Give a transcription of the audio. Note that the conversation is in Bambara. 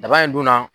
Daba in dun na